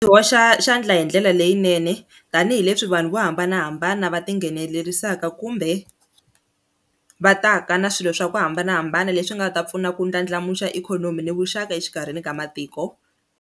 Byi hoxa xandla hi ndlela leyinene tanihileswi vanhu vo hambanahambana va tinghenelerisa eka kumbe va ta ka na swilo swa ku hambanahambana leswi nga ta pfuna ku ndlandlamuxa ikhonomi ni vuxaka exikarhini ka matiko.